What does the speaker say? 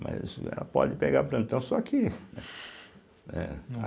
Mas ela pode pegar plantão só que, né?